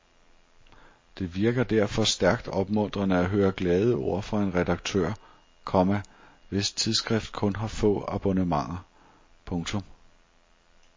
Det virker derfor stærkt opmuntrende at høre glade ord fra en redaktør, komma hvis tidsskrift kun har få abonnenter. punktum